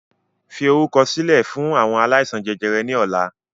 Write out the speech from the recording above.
Fi orúkọ sílẹ̀ fún àwọn aláìsàn jẹjẹrẹ ni ọ̀la!